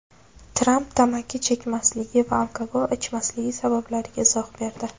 Tramp tamaki chekmasligi va alkogol ichmasligi sabablariga izoh berdi.